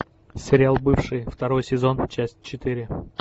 сериал бывшие второй сезон часть четыре